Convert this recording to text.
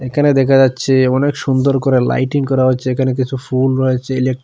এখানে দেখা যাচ্ছে অনেক সুন্দর করে লাইটিং করা হচ্ছে এখানে কিছু ফুল রয়েছে ইলেক --